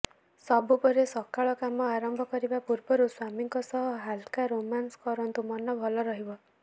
ସବୁପରେ ସକାଳ କାମ ଆରମ୍ଭ କରିବା ପୂର୍ବରୁ ସ୍ବାମୀଙ୍କ ସହ ହାଲକା ରୋମାନସ୍ କରନ୍ତୁ ମନ ଭଲ ରହିବ